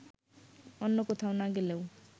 অন্য কোথাও না গেলেও